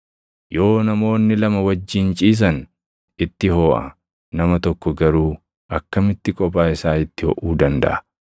Yoo namoonni lama wajjin ciisan itti hoʼa; nama tokko garuu akkamitti kophaa isaa itti hoʼuu dandaʼa?